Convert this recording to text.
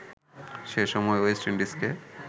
সে সময় ওয়েস্ট ইন্ডিজকে